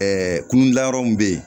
Ɛɛ kununda yɔrɔ min be yen